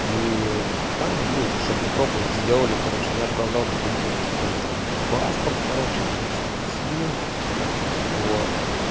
и там ну чтобы пропуск сделали короче я отправлял документы то есть там паспорт короче блять что там снилс вот